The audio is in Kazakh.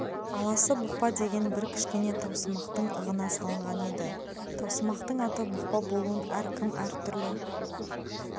аласы бұқпа деген бір кішкене таусымақтың ығына салынған еді таусымақтың аты бұқпа болуын әркім әр түрлі